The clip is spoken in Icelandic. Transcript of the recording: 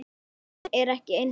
Nándin er ekki eins mikil.